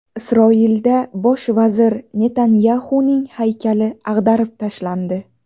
Isroilda bosh vazir Netanyaxuning haykali ag‘darib tashlandi.